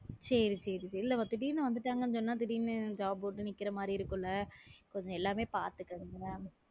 செரி செரி வெளியில திடீர்ன்னு வந்துட்டாங்கன்னு சொன்னாங்கனா திடீர்ன்னு job போட்டு நிற்கிற மாதிரி இருக்கும் இல்லை கொஞ்சம் எல்லாமே பார்த்துக்குனும்ல